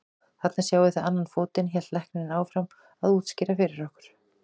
Þarna sjáið þið annan fótinn, hélt læknirinn áfram að útskýra fyrir okkur.